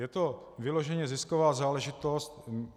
Je to vyloženě zisková záležitost.